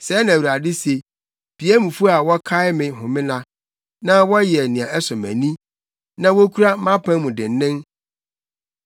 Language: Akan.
Sɛɛ na Awurade se, “Piamfo a wɔkae me homenna, wɔn a wɔyɛ nea ɛsɔ mʼani na wokura mʼapam mu dennen,